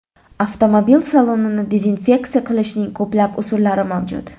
Avtomobil salonini dezinfeksiya qilishning ko‘plab usullari mavjud.